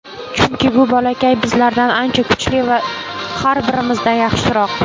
Chunki bu bolakay bizlardan ancha kuchli, har birimizdan yaxshiroq.